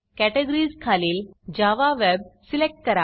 categories categories खालील Java web Java web select करा